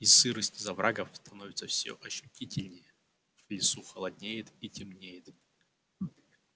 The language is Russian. и сырость из оврагов становится всё ощутительнее в лесу холоднеет и темнеет